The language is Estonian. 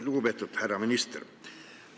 Lugupeetud härra minister!